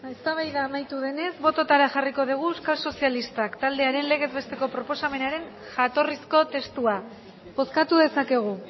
eztabaida amaitu denez botoetara jarriko dugu euskal sozialistak taldearen legez besteko proposamenaren jatorrizko testua bozkatu dezakegu